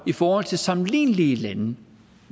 i forhold til sammenlignelige lande